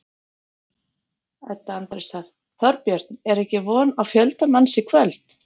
Edda Andrésdóttir: Þorbjörn, er ekki von á fjölda manns í kvöld?